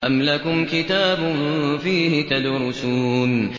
أَمْ لَكُمْ كِتَابٌ فِيهِ تَدْرُسُونَ